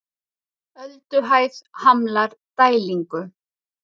Ölduhæð hamlar dælingu